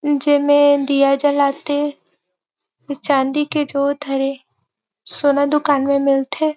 जे मेर दिया जलाथे चांदी के जोत हरे सोना दुकान मे मिलथे ।